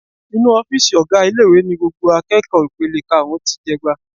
Inú ọ́fíìsì ọ̀gá ilé-ìwé ni gbogbo akẹ́kọ̀ọ́ ipele karùn-ún ti jẹ'gba.